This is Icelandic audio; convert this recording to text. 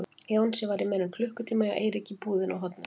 Jónsi var í meira en klukkutíma hjá Eiríki í búðinni á horninu.